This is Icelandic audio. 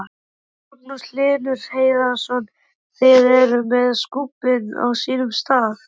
Magnús Hlynur Hreiðarsson: Þið eruð með skúbbin á sínum stað?